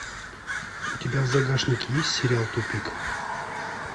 у тебя в загашнике есть сериал тупик